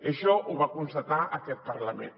això ho va constatar aquest parlament